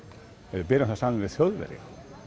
ef við berum það saman við Þjóðverja